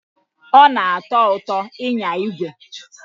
Ọ na-atọ ụtọ ịnya igwe.